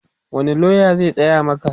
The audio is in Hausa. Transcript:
wani loya zai tsaya Maka?